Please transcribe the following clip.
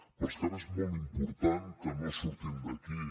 però és que ara és molt important que no surtin d’aquí